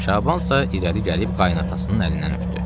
Şaban isə irəli gəlib qaynanasının əlindən öpdü.